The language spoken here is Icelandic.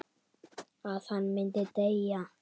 Að hann myndi deyja.